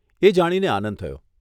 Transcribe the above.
એ જાણીને આનંદ થયો.